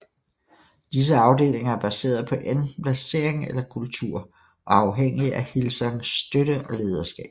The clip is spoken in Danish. Disse afdelinger er baseret på enten placering eller kultur og er afhængige af Hillsongs støtte og lederskab